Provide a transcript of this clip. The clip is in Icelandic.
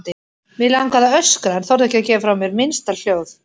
Mig langaði að öskra en þorði ekki að gefa frá mér minnsta hljóð.